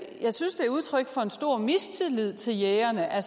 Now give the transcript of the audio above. jeg synes det er udtryk for en stor mistillid til jægerne at